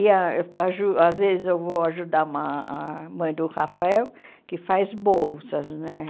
E a aju às vezes eu vou ajudar uma a mãe do Rafael, que faz bolsas, né?